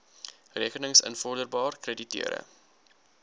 rekenings invorderbaar krediteure